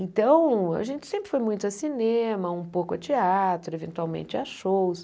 Então, a gente sempre foi muito a cinema, um pouco a teatro, eventualmente a shows.